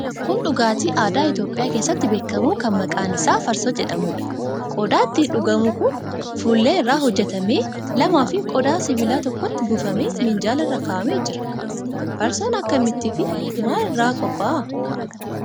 Kun dhugaatii aadaa Itiyoophiyaa keessatti beekamu kan maqaan isaa farsoo jedhamuudha. Qodaa itti dhugamu kan fuullee irraa hojjetame lamaafi qodaa sibiilaa tokkotti buufamee minjaala irra kaa'amee jira. Farsoon akkamittiifi maal irraa qophaa'a?